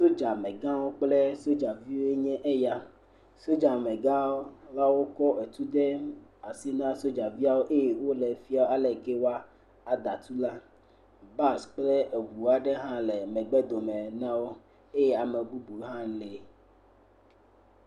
Sodzamegãwo kple sodzaviwo nye eya, sodzamagawo ya wokɔ etu de asi na sodzaviawo ya wole wofiam ale ke woada tu la. Bus kple eŋu aɖewo hã le megbe dome na wo eye ame bubu hã lee.